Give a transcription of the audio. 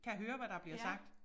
Kan høre hvad der bliver sagt